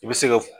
I bɛ se ka